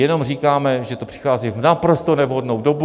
Jenom říkáme, že to přichází v naprosto nevhodnou dobu.